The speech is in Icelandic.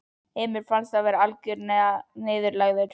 Emil fannst hann vera algjörlega niðurlægður.